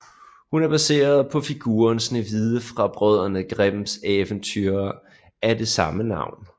Hun er baseret på figuren Snehvide fra Brødrene Grimms eventyr af det samme navn